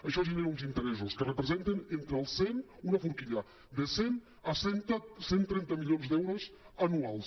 això genera uns interessos que representen una forquilla de cent a cent i trenta milions d’euros anuals